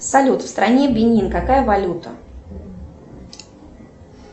салют в стране бенин какая валюта